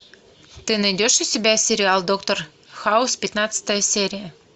ты найдешь у себя сериал доктор хаус пятнадцатая серия